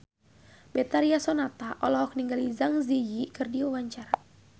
Betharia Sonata olohok ningali Zang Zi Yi keur diwawancara